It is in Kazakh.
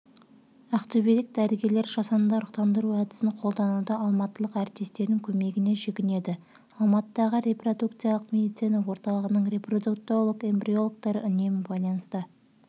ақтөбелік дәрігерлер жасанды ұрықтандыру әдісін қолдануда алматылық әріптестерінің көмегіне жүгінеді алматыдағы репродукциялық медицина орталығының репродуктолог эмбриологтары үнемі байланыста